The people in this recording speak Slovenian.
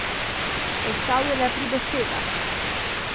Ostal je le pri besedah.